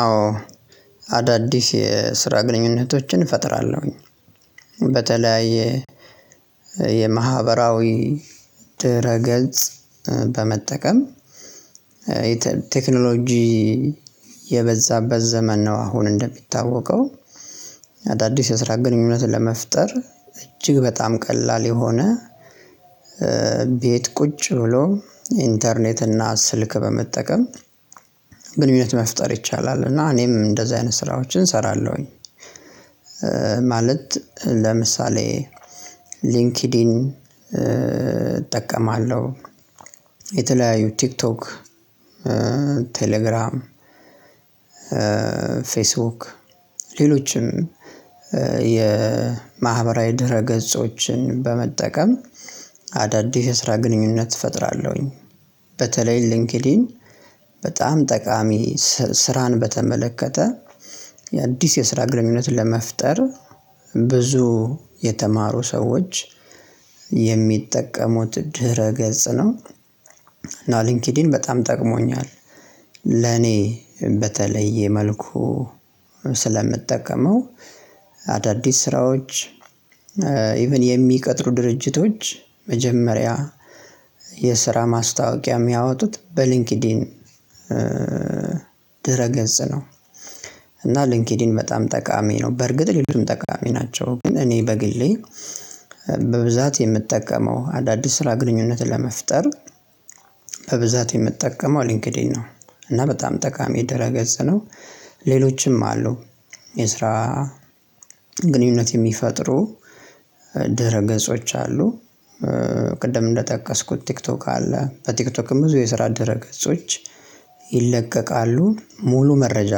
አዎ አዳዲስ የስራ ግንኙነቶችን እፈጥራለሁኝ። በተለያየ የማህበራዊ ድህረ ገጽ በመጠቀም ቴክኖሎጂ የበዛበት ዘመን ነው። አሁን እንደሚታወቀው አዳዲስ የስራ ግንኙነትን ለመፍጠር እጅግ በጣም ቀላል የሆነ ቤት ቁጭ ብሎ ኢንተርኔት እና ስልክ በመጠቀም ግንኙነት መፍጠር ይቻላል እና እኔም እንደዚህ አይነት ስራዎችን እሰራለሁኝ። ማለት ለምሳሌ ሊንክድን እጠቀማለሁ የተለያዩ ቲክቶክ ቴሌግራም ፌስቡክ ሌሎችም የማህበራዊ ድረ ገጾችን በመጠቀም አዳዲስ ስራ ግንኙነት እፈጥራለሁኝ። በተለይ ሊንክድኢን በጣም ጠቃሚ ስራን በተመለከተ የአዲስ የስራ ግንኙነትን ለመፍጠር ብዙ የተማሩ ሰዎች የሚጠቀሙት ድህረ ገጽ ነው። እና ሊንኪዲን በጣም ጠቅሞኛል። ለኔ በተለየ መልኩ ስለምጠቀመው አዳዲስ ስራዎች ኢቭን የሚቀጥሩ ድርጅቶች መጀመሪያ የስራ ማስታወቂያ ሚያወጡት በሊንኪዲን ድረ ገጽ ነው። እና ሊንኬዲን በጣም ጠቃሚ ነው። በርግጥ ሌሎቹም ጠቃሚ ናቸው። ግን እኔ በግሌ በብዛት የምጠቀመው አዳዲስ ስራ ግንኙነትን ለመፍጠር በብዛት የምጠቀመው ሊንክዲን ነው። እና በጣም ጠቃሚ ደህረ ገጽ ነው። ሌሎችም አሉ። የስራ ግንኙነት የሚፈጥሩ ድረ ገጾች አሉ። ቅድም እንደጠቀስኩት ቲክቶክ አለ በቲክቶክም ብዙ የስራ ደህረ ገጾች ይለቀቃሉ ሙሉ መረጃ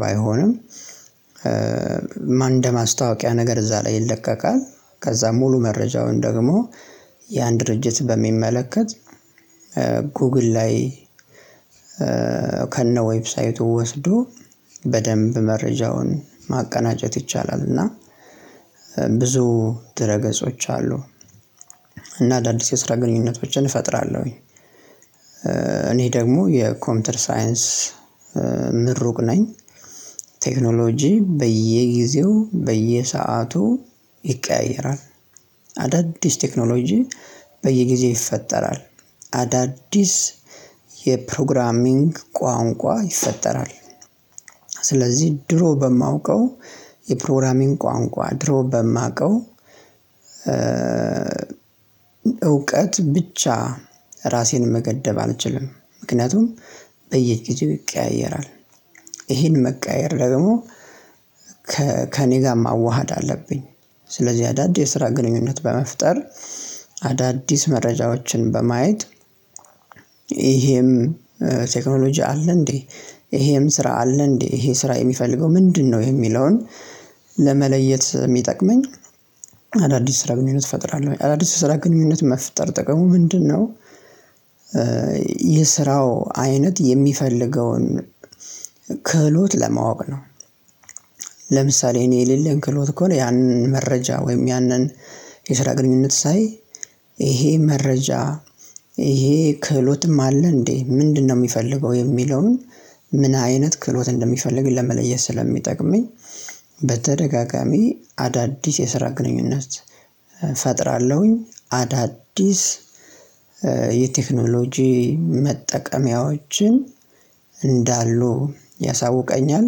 ባይሆንም ማን እንደማስታወቂያ ነገር እዛ ላይ ይለቀቃል። ከዛ ሙሉ መረጃውን ደግሞ ያን ድርጅት በሚመለከት ጉግል ላይ ከነ ዌብሳይቱ ወስዶ በደንብ መረጃውን ማቀናጀት ይቻላል። እና ብዙ ድህረ ገጾች አሉ። እና አዳዲስ የስራ ግንኙነቶችን እፈጥራለሁኝ። እኔ ደግሞ የኮምፒውተር ሳይንስ ምሩቅ ነኝ። ቴክኖሎጂ በየጊዜው በየሰአቱ ይቀያየራል። አዳዲስ ቴክኖሎጂ በየጊዜው ይፈጠራል። አዳዲስ የፕሮግራሚንግ ቋንቋ ይፈጠራል። ስለዚህ ድሮ በማውቀው የፕሮግራሚንግ ቋንቋ ድሮ በማውቀው እውቀት ብቻ ራሴን መገደብ አልችልም። ምክንያቱም በየጊዜው ይቀያየራል። ይሄን መቀያየር ደግሞ ከእኔ ጋር ማዋሃድ አለብኝ። ስለዚህ አዳዲስ ስራ ግንኙነት በመፍጠር አዳዲስ መረጃዎችን በማየት ይሄም ቴክኖሎጂ አለ። እንዴ? ይሄም ስራ አለ። እንዴ? ይሄ ስራ የሚፈልገው ምንድን ነው? የሚለውን ለመለየት እሚጠቅመኝ አዳዲስ ስራ ግንኙነት እፈጥራለሁ። አዳዲስ ስራ ግንኙነት መፍጠር ጥቅሙ ምንድን ነው? የስራው አይነት የሚፈልገውን ክህሎት ለማወቅ ነው። ለምሳሌ እኔ የሌለን ክህሎት ከሆነ ያንን መረጃ ወይም ያንን የስራ ግንኙነት ሳይ ይሄ መረጃ ይሄ ክህሎትም አለ እንዴ ምንድን ነው ሚፈልገው የሚለውን ምን አይነት ክህሎት እንደሚፈልግ ለመለየት ስለሚጠቅመኝ። በተደጋጋሚ አዳዲስ የስራ ግንኙነት ፈጥራለሁኝ አዳዲስ የቴክኖሎጂ መጠቀሚያዎችን እንዳሉ ያሳውቀኛል።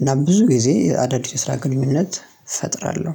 እና ብዙ ጊዜ አዳዲስ ስራ ግንኙነት እፈጥራለሁ።